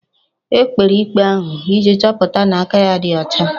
E kpere ikpe ahụ iji chọpụta na aka ya ọ dị ọcha